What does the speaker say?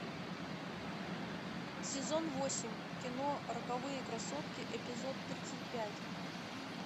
сезон восемь кино роковые красотки эпизод тридцать пять